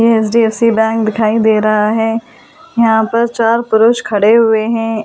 ये HDFC bank दिखाई दे रहा है यहां पर चार पुरुष खड़े हुए हैं।